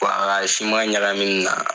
Poi ka siman ɲagaminina.